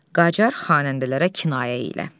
Qacar xanəndələrə kinayə elə.